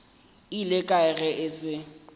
ile kae ge e se